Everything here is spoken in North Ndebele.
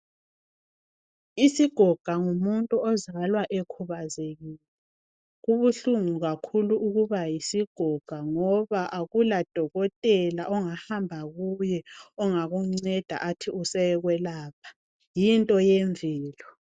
Isigoga ngumuntu ozalwa ekhubazekile. Kubuhlungu kakhulu ukubayisigoga ngoba akula dokotela ongahamba kuye ongakunceda ethi usekwelapha, yinto yemvelo.